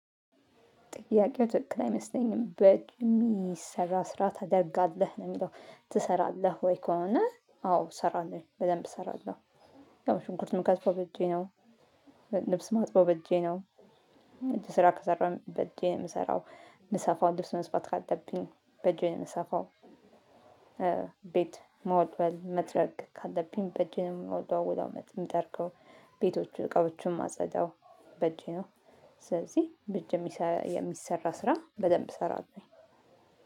ጥያቄው ትክክል አይመስለኝም። በጥኑ የሚሰራ ስራ ታደርጋለህ? ነው የሚለው። ትሰራለህ ወይ? ከሆነ አዎ እሰራለሁ በደንብ እሰራለሁ። ያው ሽንኩርት የምከትፈው በእጄ ነው። ልብስ ማጥበው በእጄ ነው። እጅ ስራ ከሰራሁኝ በእጄ ነው የምሰራው። ምሰፋውን ልብስ መስፋት ካለብኝ በእጄ የምሰፋው። ቤት መወልወል መጥረግ ካለብኝ፣ በእጄ የምወለውለው የምጠርገው ቤቶቹን እቃዎቹን ማጸዳው በእጄ ነው፤ ስለዚህ በእጅ የሚሰራ ስራ በደንብ እሰራለውኝ።